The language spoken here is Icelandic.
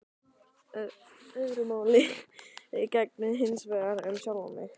Öðru máli gegndi hinsvegar um sjálfan mig.